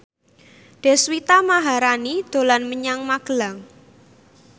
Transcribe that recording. Deswita Maharani dolan menyang Magelang